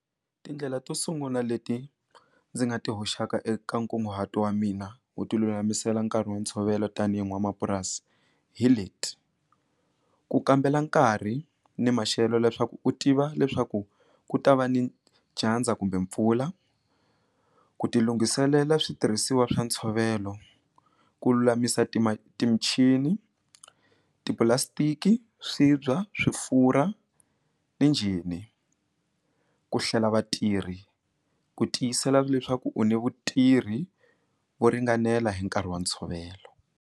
Tindlela to sungula leti ndzi nga ti hoxaka eka nkunguhato wa mina u ti lulamisela nkarhi wa ntshovelo tanihi n'wanamapurasi hi leti ku kambela nkarhi ni maxelo leswaku u tiva leswaku ku ta va ni dyandza kumbe mpfula ku ti lunghiselela switirhisiwa swa ntshovelo ku lulamisa michini tipulastiki swibya swifura ni njhini ni ku hlela vatirhi ku tiyisela leswaku u ni vutirhi vo ringanela hi nkarhi wa ntshovelo.